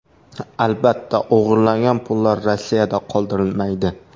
Albatta, o‘g‘irlangan pullar Rossiyada qoldirilmaydi.